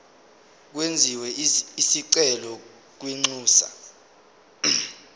kwenziwe isicelo kwinxusa